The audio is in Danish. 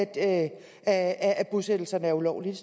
at at bosættelserne er ulovlige